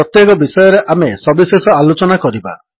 ପ୍ରତ୍ୟେକ ବିଷୟରେ ଆମେ ସବିଶେଷ ଆଲୋଚନା କରିବା